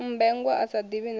mmbengwa a sa ḓivhi na